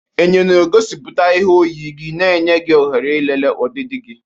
Enyo na-egosipụta ihe oyiyi gị, na-enye gị ohere ịlele ọdịdị gị.